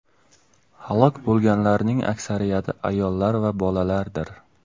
Halok bo‘lganlarning aksariyati ayollar va bolalardir.